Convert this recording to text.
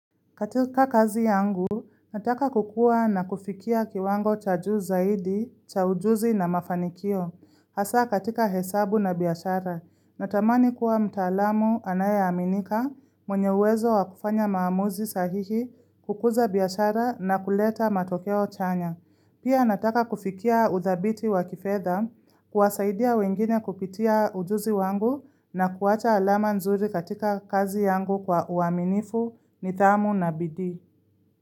Katika kazi yangu, nataka kukua na kufikia kiwango cha juu zaidi, cha ujuzi na mafanikio. Hasa katika hesabu na biashara, natamani kuwa mtaalamu anayeaminika, mwenye uwezo wa kufanya maamuzi sahihi, kukuza biashara na kuleta matokeo chanya. Pia nataka kufikia udhabiti wa kifedha kuwasaidia wengine kupitia ujuzi wangu na kuwacha alama nzuri katika kazi yangu kwa uaminifu, nidhamu na bidii.